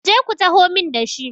ku je ku taho min da shi!